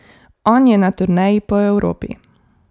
On je na turneji po Evropi.